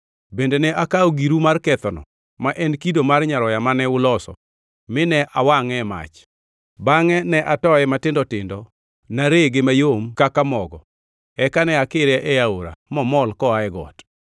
Bende ne akawo giru mar kethono, ma en kido mar nyaroya mane uloso, mine awangʼe e mach. Bangʼe ne atoye matindo tindo narege mayom kaka mogo, eka ne akire e aora mamol koa e got.